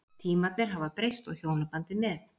Tímarnir hafa breyst og hjónabandið með.